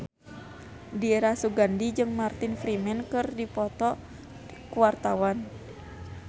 Dira Sugandi jeung Martin Freeman keur dipoto ku wartawan